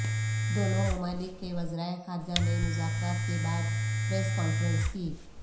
دونوں ممالک کے وزرائے خارجہ نے مذاکرات کے بعد پریس کانفرنس کی